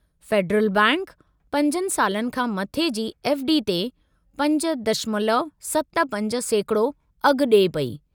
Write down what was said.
Federal बैंकि 5 साल खां मथे जी एफ़. डी. ते 5.75% अघु ॾिए पेई।